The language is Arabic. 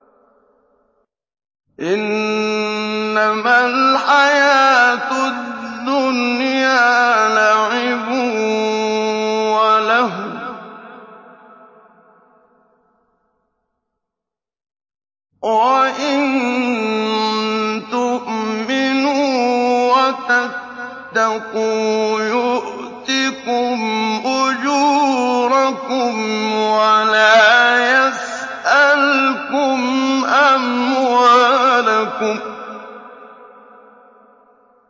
إِنَّمَا الْحَيَاةُ الدُّنْيَا لَعِبٌ وَلَهْوٌ ۚ وَإِن تُؤْمِنُوا وَتَتَّقُوا يُؤْتِكُمْ أُجُورَكُمْ وَلَا يَسْأَلْكُمْ أَمْوَالَكُمْ